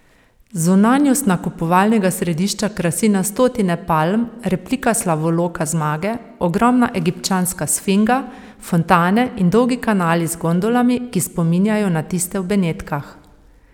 Zunanjost nakupovalnega središča krasi na stotine palm, replika slavoloka zmage, ogromna egipčanska sfinga, fontane in dolgi kanali z gondolami, ki spominjajo na tiste v Benetkah.